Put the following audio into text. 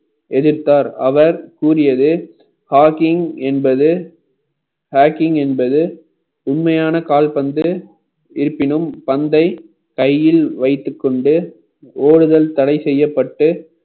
எதிர்த்தார் அவர் கூறியது hocking என்பது hacking என்பது உண்மையான கால்பந்து இருப்பினும் பந்தை கையில் வைத்துக் கொண்டு ஓடுதல் தடைசெய்யப்பட்டு